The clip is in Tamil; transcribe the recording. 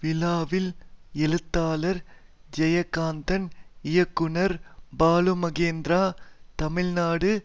விழாவில் எழுத்தாளர் ஜெயகாந்தன் இயக்குனர் பாலுமகேந்திரா தமிழ்நாடு